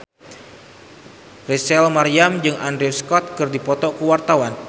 Rachel Maryam jeung Andrew Scott keur dipoto ku wartawan